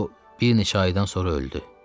O bir neçə aydan sonra öldü.